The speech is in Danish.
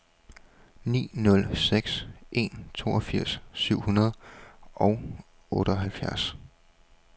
ni nul seks en toogfirs syv hundrede og otteoghalvfjerds